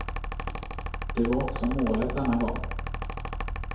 Det var också målet denna gång.